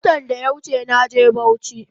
Watan daya wuche naje bauchi